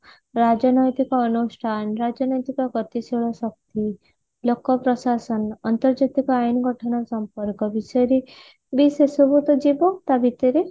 ରାଜନୈତିକ ଅନୁଷ୍ଠାନ ରାଜନୈତିକ ଗତିଶୀଳ ଶକ୍ତି ଲୋକ ପ୍ରଶାସନ ଅନ୍ତର୍ଜାତିକ ଆଇନ ଗଠନ ସମ୍ପର୍କ ବିଷୟରେ ବି ସେସବୁ ତ ଯିବ ତା ଭିତରେ